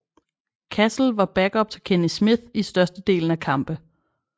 Cassell var backup til Kenny Smith i størsedelen af kampe